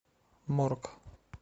морг